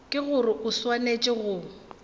ke gore o swanetše go